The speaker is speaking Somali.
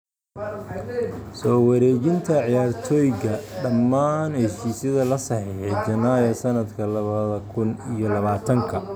Soo wareejinta ciyaartoyga: Dhammaan heshiisyada la saxeexay Janaayo sanadka labada kun iyo labatanka